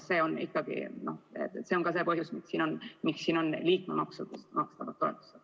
See on ikkagi ka see põhjus, miks siin on jutt liikmemaksudest makstavatest toetustest.